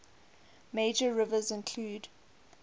major rivers include